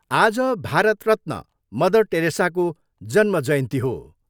आज भारत रत्न मदर टेरेसाको जन्म जयन्ती हो।